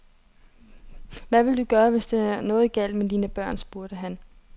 Hvad vil du gøre, hvis der er noget galt med dine børn, spurgte han.